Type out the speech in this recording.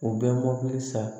U bɛ mɔbili san